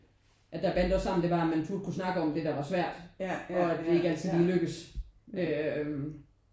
At der bandt os sammen det var at man turde kunne snakke om det der var svært og at det ikke altid lige lykkedes øh